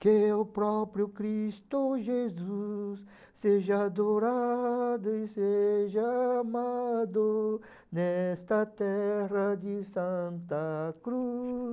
Que o próprio Cristo Jesus seja adorado e seja amado nesta terra de Santa Cruz.